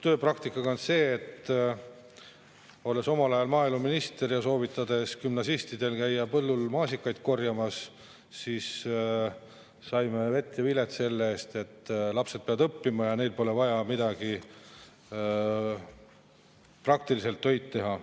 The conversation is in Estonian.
Tööpraktikaga on nii, et olles omal ajal maaeluminister ja soovitades gümnasistidel käia põllul maasikaid korjamas, sain ma vett ja vilet selle eest, lapsed peavad õppima ja neil pole vaja praktilist tööd teha.